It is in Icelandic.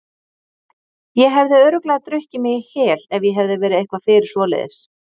Ég hefði örugglega drukkið mig í hel ef ég hefði verið eitthvað fyrir svoleiðis.